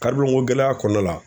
ko gɛlɛya kɔnɔna la.